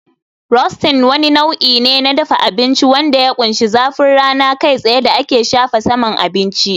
Roasting wani nau'i ne na dafa abinci wanda ya ƙunshi zafin rana kai tsaye da ake shafa saman abinci